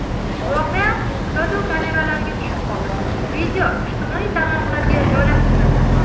Voqea kuzatuv kameralariga tushib qoldi, video ijtimoiy tarmoqlarga joylashtirildi.